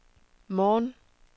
morgen